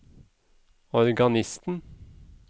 organisten